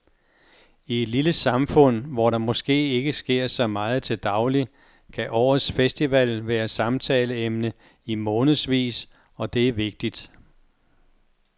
I et lille samfund, hvor der måske ikke sker så meget til daglig, kan årets festival være samtaleemne i månedsvis, og det er vigtigt.